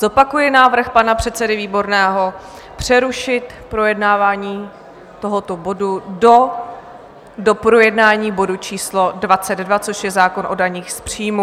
Zopakuji návrh pana předsedy Výborného přerušit projednávání tohoto bodu do doprojednání bodu číslo 22, což je zákon o daních z příjmů.